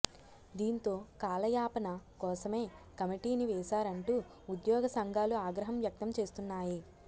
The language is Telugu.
దీంతో కాలయాపన కోసమే కమిటీని వేశారంటూ ఉద్యోగ సంఘాలు ఆగ్రహం వ్యక్తం చేస్తున్నాయి